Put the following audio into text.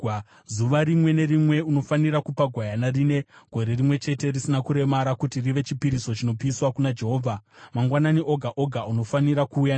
“ ‘Zuva rimwe nerimwe unofanira kupa gwayana rine gore rimwe chete risina kuremara kuti rive chipiriso chinopiswa kuna Jehovha; mangwanani oga oga unofanira kuuya naro.